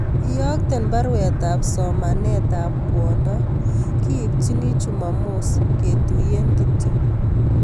Iyokten baruet ab somanet ab kwondo , kiipchini chumamos , ketuyen kityo